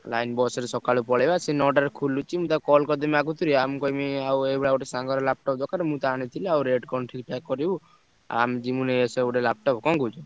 Line bus ରେ ସକାଳୁ ପଳେଇବା ସିଏ ନଅଟାରେ ଖୋଲୁଛି ମୁଁ ତାକୁ call କରିଦେମି ଆଗତରିଆ, ମୁଁ କହିବି ଆଉ ଏଇଭଳିଆ ଗୋଟେ ସାଙ୍ଗର laptop ଦରକାର ମୁଁ ତ ଆଣିଥିଲି ଆଉ rate କଣ ଠିକ୍ ଠାକ୍ କରିବୁ ଆଉ ଆମେ ଯିମୁ ନେଇଆସିଆ ଗୋଟେ laptop କଣ କହୁଛୁ?